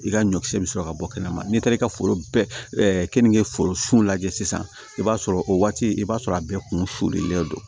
I ka ɲɔkisɛ bɛ sɔrɔ ka bɔ kɛnɛma n'i taara i ka foro kenige foro lajɛ sisan i b'a sɔrɔ o waati i b'a sɔrɔ a bɛɛ kun sudonlen don